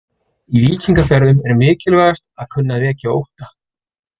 Í víkingaferðum er mikilvægast að kunna að vekja ótta.